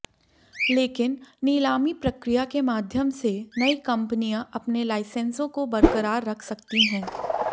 लेकिन नीलामी प्रक्रिया के माध्यम से नई कंपनियां अपने लाइसेंसों को बरकरार रख सकती हैं